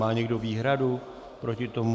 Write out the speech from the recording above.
Má někdo výhradu proti tomu?